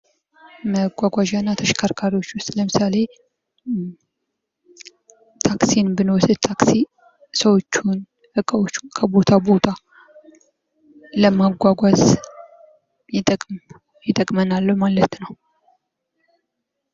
መጓጓዣ እና ተሽከርካሪዎች ዉስጥ ለምሳሌ ታክሲን ብንወስድ ታክሲ ሰዎችን እቃዎች ከቦታ ቦታ ለማጓጓዝ ይጠቅመናል ማለት ነው።